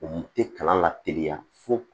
U tɛ kalan lateliya fo